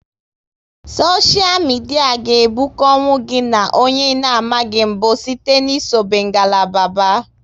Soshia midia ga ebukonwu gị na onye ị na amaghị mbụ site n'isobe ngalaba ba